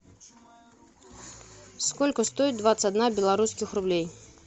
сколько стоит двадцать одна белорусских рублей